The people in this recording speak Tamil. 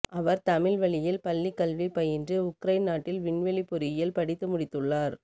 அவர் தமிழ் வழியில் பள்ளிக் கல்வி பயின்று உக்ரைன் நாட்டில் விண்வெளி பொறியியல் படித்து முடித்துள்ளார்